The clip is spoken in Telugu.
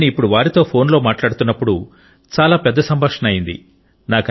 నేను ఇప్పుడు వారితో ఫోన్లో మాట్లాడుతున్నప్పుడు చాలా పెద్ద సంభాషణ అయింది